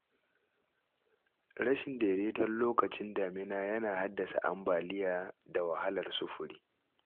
Rashin daidaiton lokacin damina yana haddasa ambaliya da wahalar sufuri.